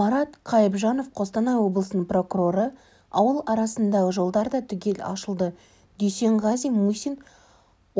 марат қайыбжанов қостанай облысының прокуроры ауыл арасындағы жолдар да түгел ашылды дүйсенғазы мусин